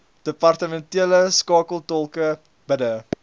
departementele skakeltolke bide